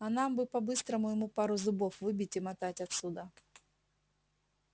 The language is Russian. а нам бы по-быстрому ему пару зубов выбить и мотать отсюда